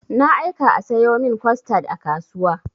Na aika a sayo min costad a kasuwa.